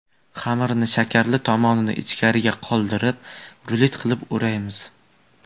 Xamirni shakarli tomonini ichkarida qoldirib, rulet qilib o‘raymiz.